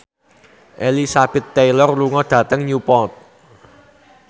Elizabeth Taylor lunga dhateng Newport